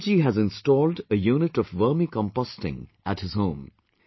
Bilal ji has installed a unit of Vermi composting at his home